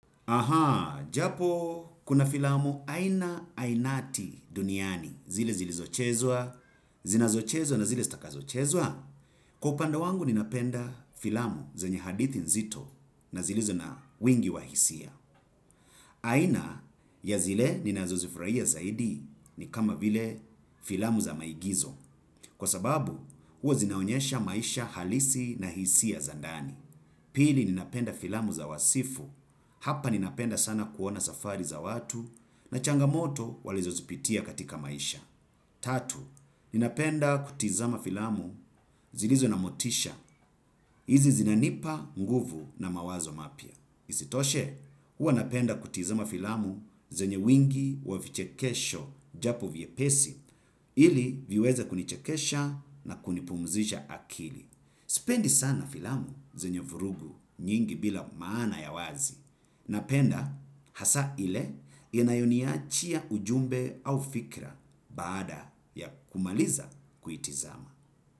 Ahaa, japo kuna filamu aina ainati duniani, zile zilizochezwa, zinazochezwa na zile stakazochezwa. Kwa upanda wangu ninapenda filamu zenye hadithi nzito na zilizo na wingi wa hisia. Aina ya zile ninazo zifurahia zaidi ni kama vile filamu za maigizo. Kwa sababu, huwa zinaonyesha maisha halisi na hisia za ndani. Pili ninapenda filamu za wasifu, hapa ninapenda sana kuona safari za watu, na changamoto walizo zipitia katika maisha. Tatu, ninapenda kutizama filamu zilizo na motisha, izi zinanipa nguvu na mawazo mapya. Isitoshe, huwa napenda kutizama filamu zenye wingi wa vichekesho japo vyepesi, ili viweza kunichekesha na kunipumzisha akili. Sipendi sana filamu zenye vurughu nyingi bila maana ya wazi. Napenda hasa ile inayonihachia ujumbe au fikra baada ya kumaliza kuitazama.